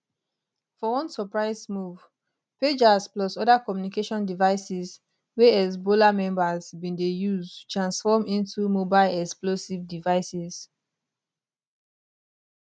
for one surprise move pagers plus oda communication devices wey hezbollah members bin dey use transform into mobile explosive devices